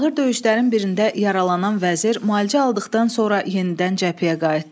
Ağır döyüşlərin birində yaralanan vəzir müalicə aldıqdan sonra yenidən cəbhəyə qayıtdı.